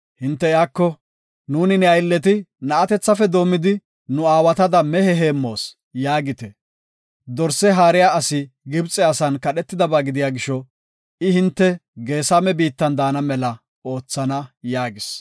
hinte iyako, ‘Nuuni ne aylleti na7atethafe doomidi nu aawatada mehe heemmoos’ yaagite. Dorse haariya asi Gibxe asan kadhetidaba gidiya gisho, I hinte Geesame biittan daana mela oothana” yaagis.